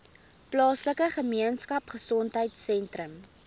plaaslike gemeenskapgesondheid sentrum